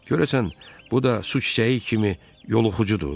Görəsən bu da su çiçəyi kimi yoluxucudur?